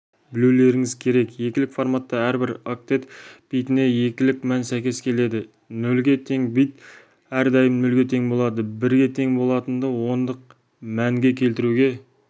білулеріңіз керек екілік форматта әрбір октет битіне екілік мән сәйкес келеді нөлге тең бит әрдайым нөлге тең болады бірге тең болатынды ондық мәнге келтіруге